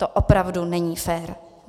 To opravdu není fér.